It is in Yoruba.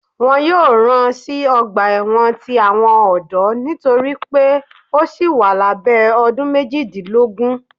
Wọn yóò rán sí ọgba ẹwọn tí àwọn ọdọ nitori pe o síi wà labẹ ọdún méjìdínlógún.